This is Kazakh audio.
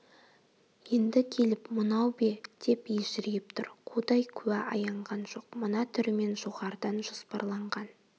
енді келіп мынау бе деп ежірейіп тұр құдай куә аянған жоқ мына түрімен жоғарыдан жоспарланған